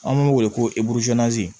An b'u wele ko